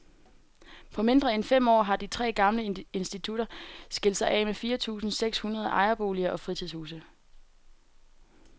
På mindre end fem år har de tre gamle institutter skilt sig af med fire tusinde seks hundrede ejerboliger og fritidshuse.